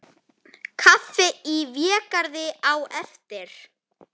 Kaffi í Végarði á eftir.